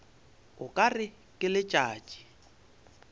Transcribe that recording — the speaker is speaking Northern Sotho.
o ka re ke letšatši